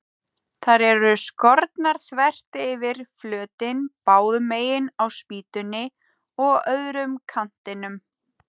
Þær eru skornar þvert yfir flötinn, báðu megin á spýtunni og á öðrum kantinum.